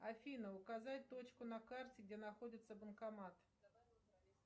афина указать точку на карте где находится банкомат